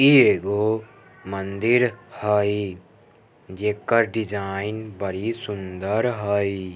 ई एगो मंदिर हइ जेकर डिज़ाइन बड़ी सुन्दर हई।